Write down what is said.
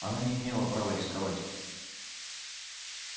она не имела права рисковать